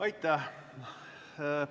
Aitäh!